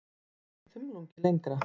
Ekki þumlungi lengra.